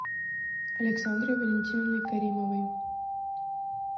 александрой валентиновной каримовой